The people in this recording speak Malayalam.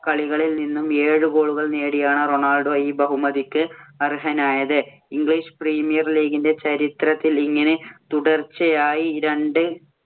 കളികളിൽ നിന്നും ഏഴ് goal ഉകള്‍ നേടിയാണ് റൊണാൾഡോ ഈ ബഹുമതികൾക്ക് അർഹനായത്. English Premier League ഇന്‍റെ ചരിത്രത്തിൽ ഇങ്ങനെ തുടർച്ചയായി രണ്ട്